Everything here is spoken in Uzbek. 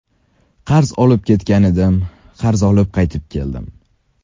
Qarz olib ketgan edim, qarz olib qaytib keldim.